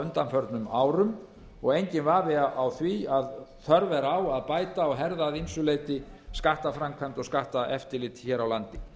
undanförnum árum og enginn vafi á því að þörf er á að bæta og herða að ýmsu leyti skattaframkvæmd og skatteftirlit hér á landi